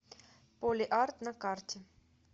полиарт на карте